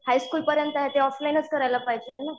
high school पर्यंत ते ऑफलाईनच करायला पाहिजे ना